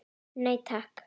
Nei takk.